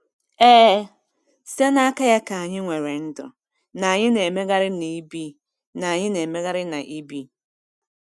Ee, “site n’aka ya ka anyị nwere ndụ, na anyị na-emegharị na ibi.” na-emegharị na ibi.”